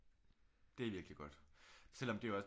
Det er virkelig godt selvom det jo også